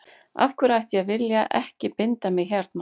Af hverju ætti ég að vilja ekki binda mig hérna.